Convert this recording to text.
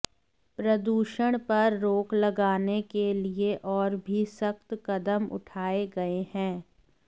प्रदूषण पर रोक लगाने के लिए और भी सख्त कदम उठाए गए हैं